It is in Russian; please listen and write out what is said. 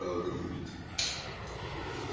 а она будет